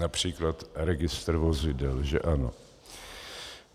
Například registr vozidel, že ano?